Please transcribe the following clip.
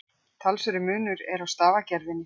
Talsverður munur er á stafagerðinni.